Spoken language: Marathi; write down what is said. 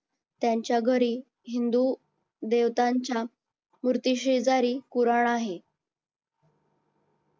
त्यांच्या घरी हिंदू देवतांच्या मूर्तीशेजारी पुराण आहे